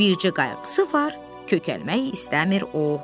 Bircə qayğısı var: kökəlmək istəmir o.